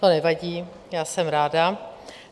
To nevadí, já jsem ráda.